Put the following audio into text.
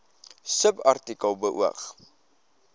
subartikel beoog